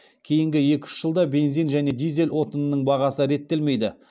кейінгі екі үш жылда бензин және дизель отынының бағасы реттелмейді